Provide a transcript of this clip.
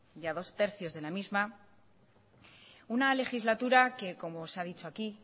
ya dos tercios de la misma una legislatura que como se ha dicho aquí